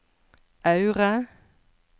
Aure